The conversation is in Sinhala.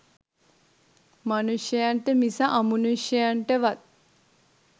මනුෂයන්ට මිස අමනුෂයන්ටවත්